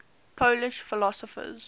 polish philosophers